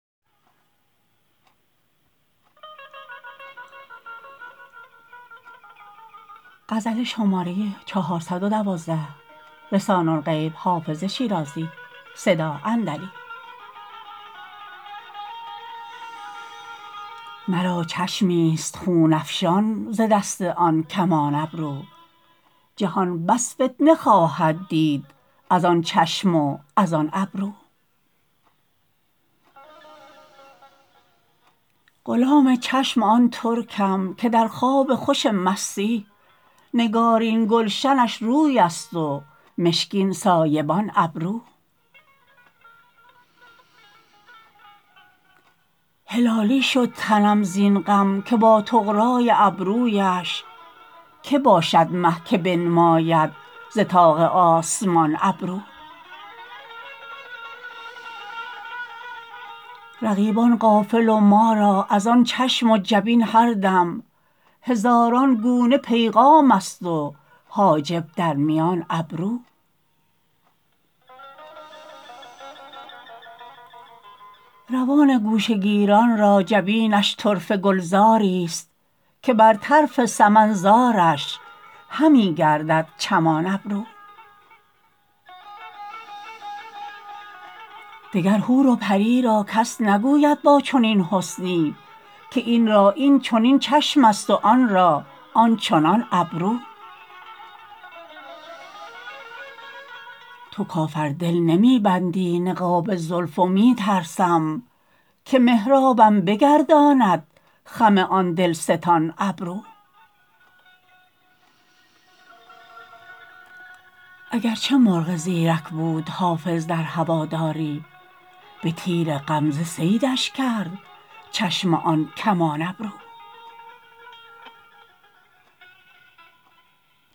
مرا چشمی ست خون افشان ز دست آن کمان ابرو جهان بس فتنه خواهد دید از آن چشم و از آن ابرو غلام چشم آن ترکم که در خواب خوش مستی نگارین گلشنش روی است و مشکین سایبان ابرو هلالی شد تنم زین غم که با طغرا ی ابرو یش که باشد مه که بنماید ز طاق آسمان ابرو رقیبان غافل و ما را از آن چشم و جبین هر دم هزاران گونه پیغام است و حاجب در میان ابرو روان گوشه گیران را جبینش طرفه گلزار ی ست که بر طرف سمن زارش همی گردد چمان ابرو دگر حور و پری را کس نگوید با چنین حسنی که این را این چنین چشم است و آن را آن چنان ابرو تو کافر دل نمی بندی نقاب زلف و می ترسم که محرابم بگرداند خم آن دل ستان ابرو اگر چه مرغ زیرک بود حافظ در هوادار ی به تیر غمزه صیدش کرد چشم آن کمان ابرو